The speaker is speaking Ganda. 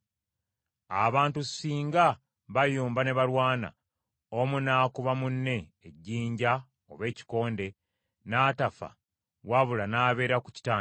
“Abantu singa bayomba ne balwana, omu n’akuba munne ejjinja oba ekikonde, n’atafa wabula n’abeera ku kitanda;